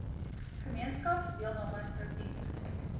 gemeenskaps deelname struktuur